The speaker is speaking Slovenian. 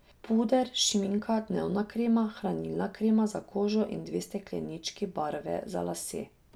Puder, šminka, dnevna krema, hranilna krema za kožo in dve steklenički barve za lase.